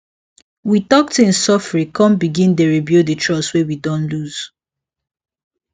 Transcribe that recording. we talk things sofri con begin dey rebuild the trust wey we don lose